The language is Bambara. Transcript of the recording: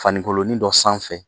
Fani nkolonin dɔ sanfɛ.